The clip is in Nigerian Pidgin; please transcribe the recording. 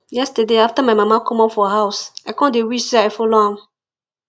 yesterday after my mama comot for house i come dey wish say i follow am